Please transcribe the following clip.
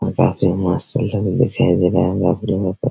और काफी मस्त अंदर में दिखाई दे रहे हैं बाप रे बाप।